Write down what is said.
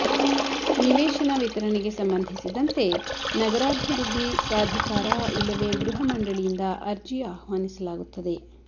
ನಿವೇಶನ ವಿತರಣೆಗೆ ಸಂಬಂಧಿಸಿದಂತೆ ನಗರಾಭಿವೃದ್ಧಿ ಪ್ರಾಧಿಕಾರ ಇಲ್ಲವೇ ಗೃಹಮಂಡಳಿಯಿಂದ ಅರ್ಜಿ ಆಹ್ವಾನಿಸಲಾಗುತ್ತದೆ